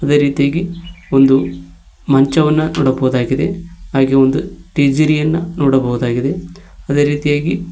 ಅದೇ ರೀತಿಯಾಗಿ ಒಂದು ಮಂಚವನ್ನ ನೋಡಬಹುದಾಗಿದೆ ಹಾಗೆ ಒಂದು ಟಿಜರಿಯನ್ನು ನೋಡಬಹುದು ಅದೇ ರೀತಿಯಾಗಿ --